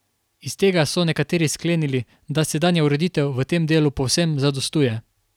Iz tega so nekateri sklenili, da sedanja ureditev v tem delu povsem zadostuje.